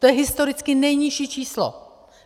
To je historicky nejnižší číslo.